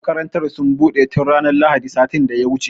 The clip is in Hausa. Makarantar sun buɗe tun ranar lahadin sati da ya wuce